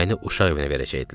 məni uşaq evinə verəcəkdilər.